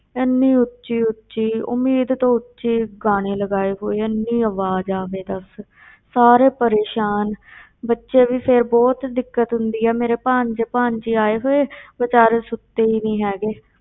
ਇੰਨੀ ਉੱਚੀ ਉੱਚੀ, ਉਮੀਦ ਤੋਂ ਉੱਚੀ ਗਾਣੇ ਲਗਾਏ ਹੋਏ ਆ, ਇੰਨੀ ਆਵਾਜ਼ ਆਵੇ ਦੱਸ ਸਾਰੇ ਪਰੇਸ਼ਾਨ ਬੱਚੇ ਵੀ ਫਿਰ ਬਹੁਤ ਦਿੱਕਤ ਹੁੰਦੀ ਆ, ਮੇਰੇ ਭਾਣਜੇ ਭਾਣਜੀ ਆਏ ਹੋਏ ਬੇਚਾਰੇ ਸੁੱਤੇ ਹੀ ਨੀ ਹੈਗੇ,